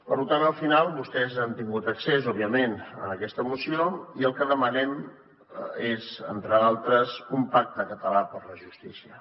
per tant al final vostès han tingut accés òbviament a aquesta moció i el que demanem és entre d’altres un pacte català per la justícia